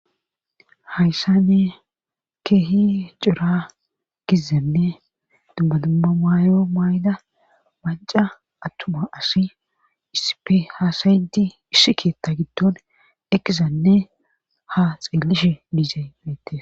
Hayssa ne keehi cira gizzanne dubmadumma maayo maayla manca attuma asi isipe haasayinti ishshi keetta giddon ekizanne ha xeelish miizee meette.